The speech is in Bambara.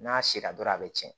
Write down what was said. N'a sera dɔrɔn a bɛ cɛn